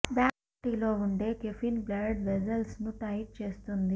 black టీలో ఉండే caffeine blood vessels ను టైట్ చేస్తుంది